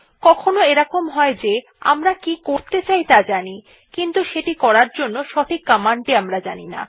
কখনও এরকম হয় যে আমরা কি করতে চাই ত়া জানি কিন্তু সেটি করার জন্য সঠিক কমান্ড টি জানি না